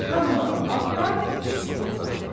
Hammalı altdan iki sütun saxlayır.